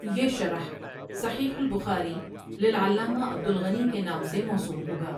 یه شرح صحیح البخاری للعلامه عبد الغني کے نام سے موسوم هوگا ۔